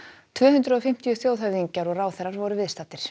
tvö hundruð og fimmtíu þjóðhöfðingjar og ráðherrar voru viðstaddir